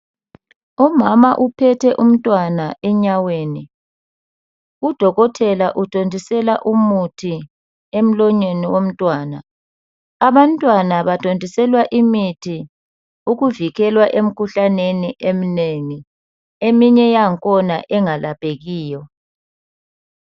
Umama uphethe umntwana enyaweni udokotela uthontisela umuthi emlonyeni womntwana abantwana bathontiswela imithi uvikelwa emikhuhlaneni eminengi eminye yakhona engalaphekiyo